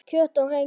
Kjöt og rengi